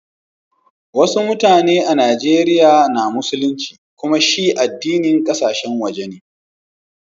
Wassu mutane a'Nijeriya na musulinci, kumma shi addinin kasashen waje ne.